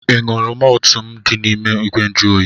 Ị ṅụrụ mọltụ m dị n'ime igwe njuoyi?